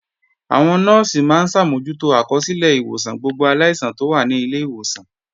Àwọn Nọ́ọ̀sì máa ń ṣàmójútó àkọsílẹ̀ ìwòsàn gbogbo aláìsàn tó wà ní ilé ìwòsàn